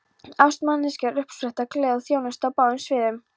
Ást manneskja er uppspretta gleði og þjónustu á báðum sviðum.